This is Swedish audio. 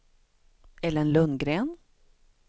Ellen Lundgren